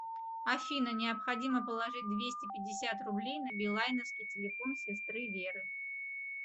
афина необходимо положить двести пятьдесят рублей на билайновский телефон сестры веры